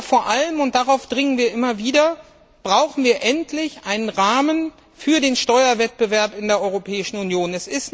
Vor allem, und darauf dringen wir immer wieder, brauchen wir endlich einen Rahmen für den Steuerwettbewerb in der Europäischen Union.